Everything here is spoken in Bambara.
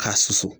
K'a susu